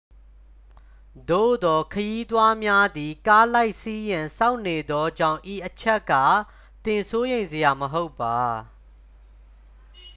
သို့သော် ခရီးသွားများသည် ကားလိုက်စီးရန် စောင့်နေသောကြောင့် ဤအချက်က သင်စိုးရိမ်စရာ မဟုတ်ပါ